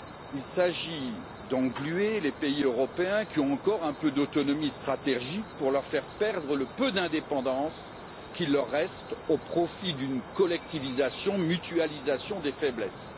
Il s'agit d'engluer les pays européens qui ont encore un peu d'autonomie stratégique pour leur faire perdre le peu d'indépendance qu'il leur reste, au profit d'une collectivisation, d'une mutualisation des faiblesses.